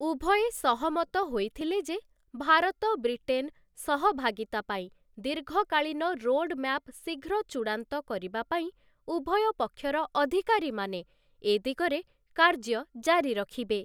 ଉଭୟେ ସହମତ ହୋଇଥିଲେ ଯେ, ଭାରତ ବ୍ରିଟେନ ସହଭାଗୀତା ପାଇଁ ଦୀର୍ଘକାଳୀନ ରୋଡମ୍ୟାପ ଶୀଘ୍ର ଚୂଡ଼ାନ୍ତ କରିବା ପାଇଁ ଉଭୟ ପକ୍ଷର ଅଧିକାରୀମାନେ ଏଦିଗରେ କାର୍ଯ୍ୟ ଜାରି ରଖିବେ ।